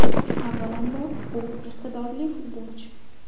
Avvalambor, u iqtidorli futbolchi.